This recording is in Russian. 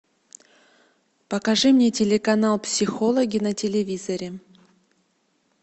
покажи мне телеканал психологи на телевизоре